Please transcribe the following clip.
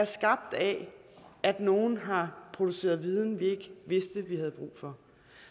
skabt af at nogle har produceret viden vi ikke vidste vi havde brug for